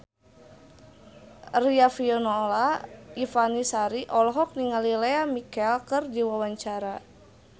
Riafinola Ifani Sari olohok ningali Lea Michele keur diwawancara